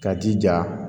K'a jija